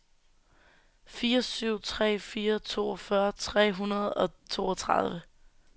fire syv tre fire toogfyrre tre hundrede og toogtredive